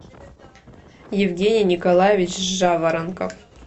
евгений николаевич жаворонков